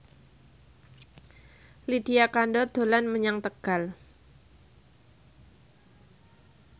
Lydia Kandou dolan menyang Tegal